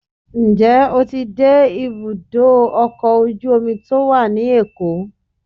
njẹ o tí dé ibudọ ọkọ ojú omí to wa ní Èko?